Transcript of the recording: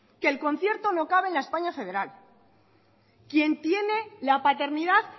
que el concierto no cabe en la españa federal quien tiene la paternidad